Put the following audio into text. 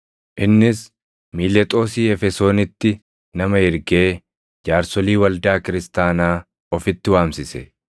Innis Miilexoosii Efesoonitti nama ergee jaarsolii waldaa kiristaanaa ofitti waamsise.